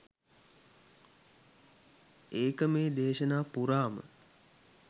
ඒක මේ දේශනා පුරාම.